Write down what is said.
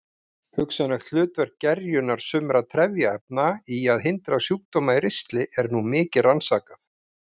Hugsanlegt hlutverk gerjunar sumra trefjaefna í að hindra sjúkdóma í ristli er nú mikið rannsakað.